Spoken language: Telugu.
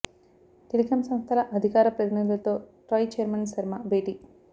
టెలికాం సంస్థల అధికార ప్రతినిధులతో ట్రాయ్ చైర్మన్ శర్మ భేటీ